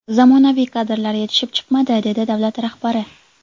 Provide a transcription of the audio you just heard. Zamonaviy kadrlar yetishib chiqmadi”, dedi davlat rahbari.